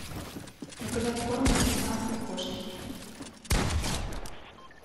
заказать корм для британской кошки